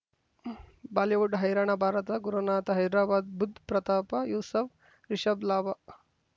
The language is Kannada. ಬಾಲಿವುಡ್ ಹೈರಾಣ ಭಾರತ ಗುರುನಾಥ ಹೈದರಾಬಾದ್ ಬುಧ್ ಪ್ರತಾಪ ಯೂಸುಫ್ ರಿಷಬ್ ಲಾಭ